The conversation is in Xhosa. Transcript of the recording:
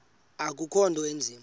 akukho nto inzima